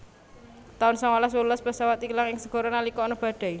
taun sangalas wolulas pesawat ilang ing segara nalika ana badai